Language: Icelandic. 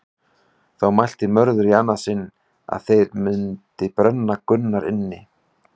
Þá mælti Mörður í annað sinn að þeir mundi brenna Gunnar inni.